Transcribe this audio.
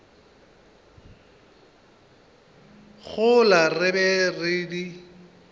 gola re be re di